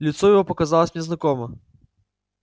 лицо его показалось мне знакомо